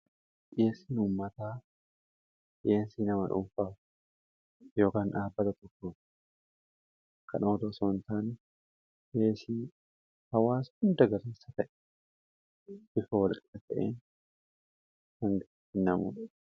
dhiyeesin uummataa dhiyeesii nama dhunfaa yokn dhaabbata tokko kan oto soontaan dhiyeesii hawaas hunda garansa ta'e bifa walqqa ta'een hanga innamu